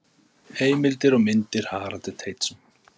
Heimildir og myndir: Haraldur Teitsson.